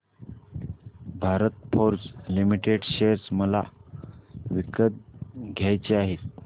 Bharat Forge Limited share मला विकत घ्यायचे आहेत